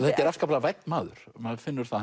þetta er afskaplega vænn maður maður finnur það